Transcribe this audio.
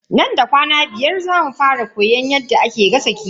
Nan da kwana biyar zamu fara koyan yadda ake gasa kifi.